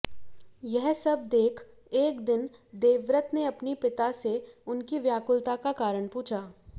यह सब देख एक दिन देवव्रत ने अपने पिता से उनकी व्याकुलता का कारण पूछा